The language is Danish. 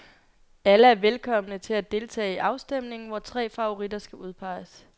Alle er velkomne til deltage i afstemningen, hvor tre favoritter skal udpeges.